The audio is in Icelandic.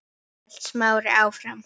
hélt Smári áfram.